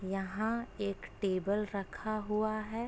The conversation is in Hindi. यहां एक टेबल रखा हुआ है।